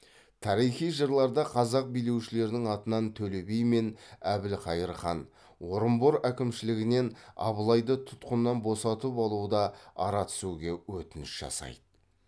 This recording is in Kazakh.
тарихи жырларда қазақ билеушілерінің атынан төле би мен әбілқайыр хан орынбор әкімшілігінен абылайды тұтқыннан босатып алуда ара түсуге өтініш жасайды